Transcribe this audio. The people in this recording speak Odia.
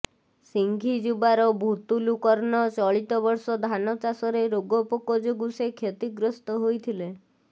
ସିଂଘିଯୁବାର ଭୁତୁଲୁ କର୍ଣ୍ଣ ଚଳିତ ବର୍ଷ ଧାନ ଚାଷରେ ରୋଗପୋକ ଯୋଗୁଁ ସେ କ୍ଷତିଗ୍ରସ୍ତ ହୋଇଥିଲେ